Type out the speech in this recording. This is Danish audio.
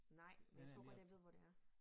Nej men jeg tror godt jeg ved hvor det er